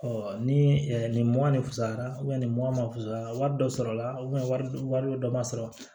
ni nin mɔ ne fusayara nin mɔ ma fasara wari dɔ sɔrɔ la wari dɔ ma sɔrɔ